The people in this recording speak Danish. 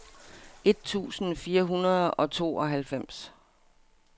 et tusind fire hundrede og tooghalvfems